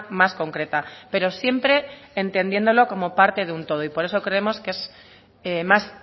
más concreta pero siempre entendiéndolo como parte de un todo y por eso creemos que es más